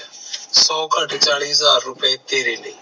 ਸੋ ਕਟ ਚਾਲੀ ਹਾਜ਼ਰ ਰੁਪਏ ਤੇਰੇ ਲਈ